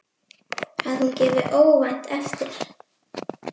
Að hún gefi óvænt eftir.